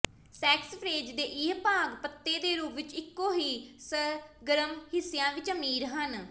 saxifrage ਦੇ ਇਹ ਭਾਗ ਪੱਤੇ ਦੇ ਰੂਪ ਵਿੱਚ ਇੱਕੋ ਹੀ ਸਰਗਰਮ ਹਿੱਸਿਆਂ ਵਿੱਚ ਅਮੀਰ ਹਨ